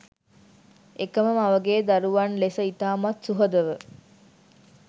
එකම මවගේ දරුවන් ලෙස ඉතාමත් සුහදව